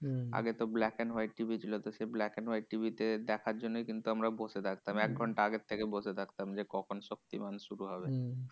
আগে তো black and white TV ছিল। তো সেই black and white TV তে দেখার জন্যই কিন্তু আমরা বসে থাকতাম। এক ঘন্টা আগের থেকে বসে থাকতাম যে, কখন শক্তিমান শুরু হবে?